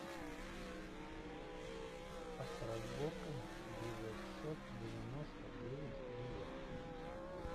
авторазборка девятьсот девяносто девять билет